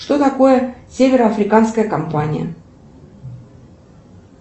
что такое северо африканская компания